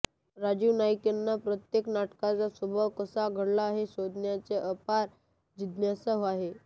राजीव नाईकांना प्रत्येक नाटकाचा स्वभाव कसा घडला हे शोधण्याची अपार जिज्ञासा आहे